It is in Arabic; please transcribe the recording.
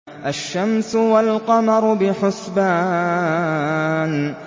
الشَّمْسُ وَالْقَمَرُ بِحُسْبَانٍ